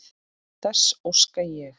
Þess óska ég.